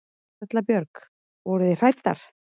Erla Björg: Voruð þið hræddar?